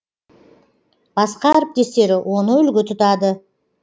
басқа әріптестері оны үлгі тұтады